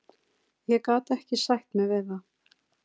Ég gat ekki sætt mig við það.